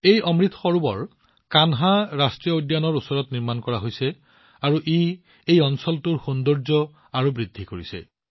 এই অমৃত সৰোবৰ কানহা ৰাষ্ট্ৰীয় উদ্যানৰ ওচৰত নিৰ্মাণ কৰা হৈছে আৰু ই এই অঞ্চলটোৰ সৌন্দৰ্য অধিক বৃদ্ধি কৰিছে